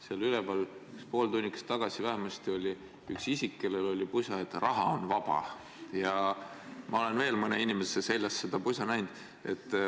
Seal üleval pool tunnikest tagasi vähemasti oli üks isik, kellel oli seljas pusa kirjaga "Raha on vaba" ja ma olen veel mõne inimese seljas seda pusa näinud.